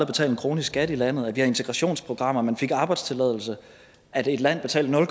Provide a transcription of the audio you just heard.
betalt en krone i skat i landet at der var integrationsprogrammer at man fik arbejdstilladelse at et land betalte nul